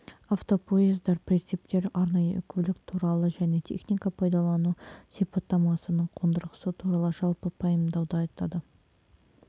автопоездар прицептер арнайы көлік туралы және техника пайдалану сипаттамасының қондырғысы туралы жалпы пайымдауды айтады